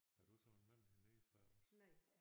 Har du så en mand hernede fra også?